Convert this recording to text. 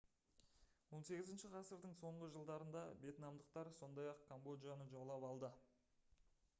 18 ғасырдың соңғы жылдарында вьетнамдықтар сондай-ақ камбоджаны жаулап алды